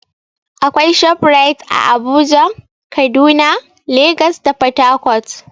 Akwai ShopRite ã Abuja, Kaduna, Legas da port Harcourt.